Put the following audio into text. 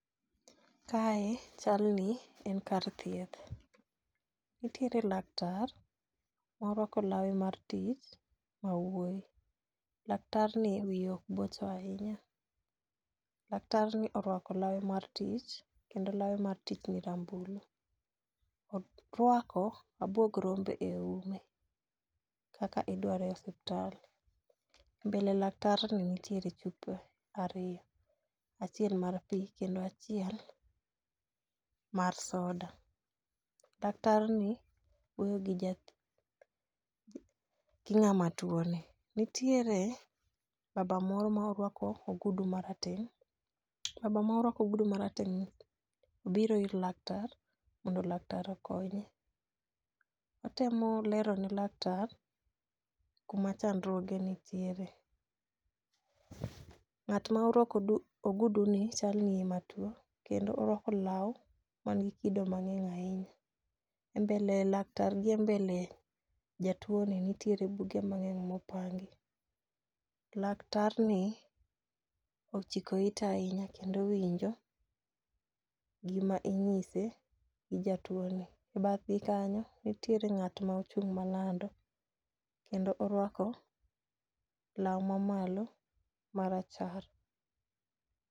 Kae chal ni en kar thieth. Nitiere laktar morwako lawe mar tich ma wuoyi. Laktar ni wiye ok bocho ahinya ,laktar ni orwako lawe mar tich kendo lawe mar tich ni rambulu. Orwako abuog rombe e ume kaka idware e osiptal . mbele laktar ni nitiere chupe ariyo : achiel mar pii kendo achiel mar soda. Laktar ni wuoyo gi jat ng'ama tuo ni, nitiere baba moro ma orwako ogudu marateng' baba morwako ogudu marateng' ni biro ir laktar mondo laktar okonye. Otemo lero ne laktar kuma chandruoge nitiere. Ng'at ma orwako odu ogudu ni chalni ema tuo kendo orwako law man gi kido mang'eny ahinya.E mbele laktar gi e mbele jatuo ni nitie buge mang'eny mopangi. Laktar ni ochiko ite ahinya kendo owinjo gima inyise gi jatuo ni . E bathgi kanyo nitiere ng'at ma ochung' malando kendo orwako law mamalo marachar.